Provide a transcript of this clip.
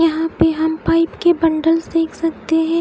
यहा पर हम पाइप के बण्डलस देख सकते है।